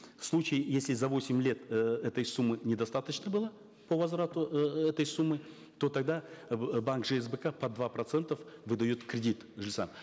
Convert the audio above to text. в случае если за восемь лет э этой суммы недостаточно было по возврату э этой суммы то тогда э банк жсбк под два процента выдает кредит жильцам